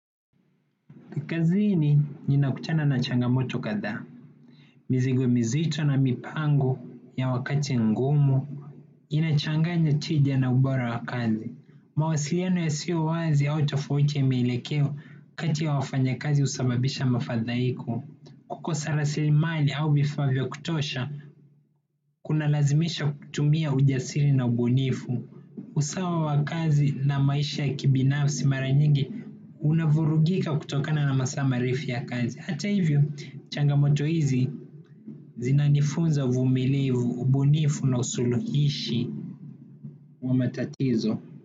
Kazini nina kutana na changamoto kadhaa, mizigo mizito na mipango ya wakati mgumu, inachanganya tija na ubora wa kazi. Mawasiliano ya sio wazi au tafauti ya maelekeo kati ya wafanyikazi husababisha mafadhaiko. Kukosa rasili mali au vifaa vyo kutosha, kuna lazimisha kutumia ujasiri na ubunifu. Usawa wa kazi na maisha ya kibinafsi mara nyingi. Unavurugika kutokana na masaa marefu ya kazi. Hata hivyo changamoto hizi zinanifunza uvumilivu ubunifu na usuluhishi wa matatizo.